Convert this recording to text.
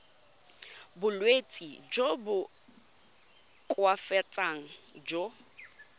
bolwetsi jo bo koafatsang jo